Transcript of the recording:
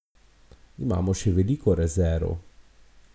Imamo še veliko rezerv.